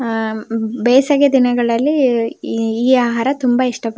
ಆಹ್ಹ್ ಬೇಸಿಗೆ ದಿನಗಳಲ್ಲಿ ಈ ಆಹಾರ ತುಂಬಾ ಇಷ್ಟ ಪ --